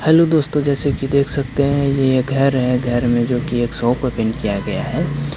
Hello दोस्तों जैसे कि देख सकते हैं ये घर है घर में जो की एक सौ शो को पेंट किया गया है।